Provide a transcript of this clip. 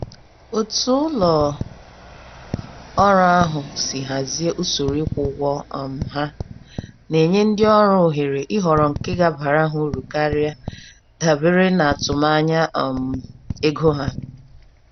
Otú ụlọ ọrụ ahụ si hazie usoro ikwu ụgwọ um ha, na-enye ndị ọrụ ohere ịhọrọ nke gabárá ha uru karịa, dabere natụm-anya um ego ha.